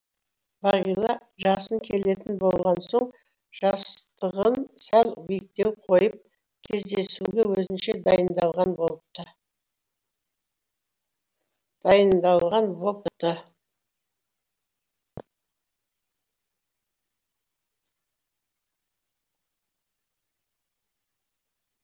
бағила жасын келетін болған соң жастығын сәл биіктеу қойып кездесуге өзінше дайындалған бопты